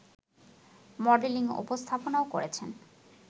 modelling ও উপস্থাপনাও করেছেন